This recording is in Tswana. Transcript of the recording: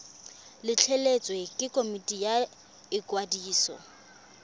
letleletswe ke komiti ya ikwadiso